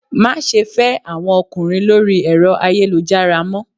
Má se fé àwọn ọkùnrin lórí ẹ̀rọ ayélujára mọ́